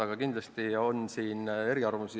Aga kindlasti on siin eriarvamusi.